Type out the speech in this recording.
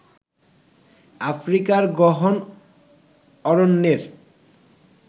আফ্রিকার গহন অরণ্যের